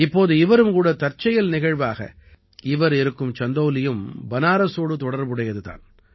இப்போது இவரும் கூட தற்செயல் நிகழ்வாக இவர் இருக்கும் சந்தௌலியும் பனாரஸோடு தொடர்புடையது தான்